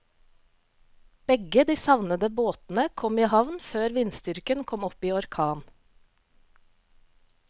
Begge de savnede båtene kom i havn før vindstyrken kom opp i orkan.